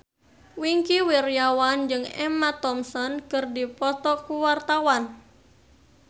Wingky Wiryawan jeung Emma Thompson keur dipoto ku wartawan